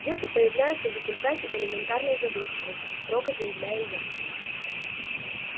дети появляются в результате элементарной забывчивости строго заявляю я